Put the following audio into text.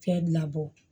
Fɛn labɔ